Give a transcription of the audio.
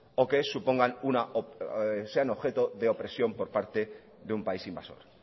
o que sean objeto de opresión por parte de un país invasor